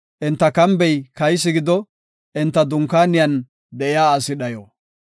Enta kambey kaysi gido; enta dunkaaniyan de7iya asi dhayo.